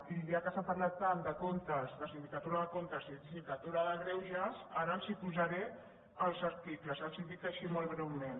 i ja que s’ha parlat tant de sindicatura de comptes i de sindicatura de greuges ara els posaré els articles els els dic així molt breument